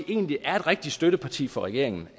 egentlig er et rigtig støtteparti for regeringen